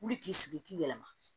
Wuli k'i sigi k'i yɛlɛma